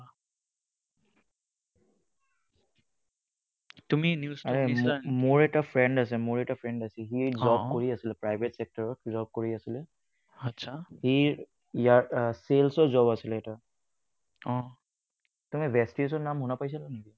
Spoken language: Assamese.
মোৰ এটা friend আছে মোৰ এটা friend আছে আহ সি job কৰি আছিলে private sector ত job কৰি আছিলে। সি sales ৰ job আছিলে এটা তুমি ভেস্তেজৰ নাম শুনা পাইছা নেকি?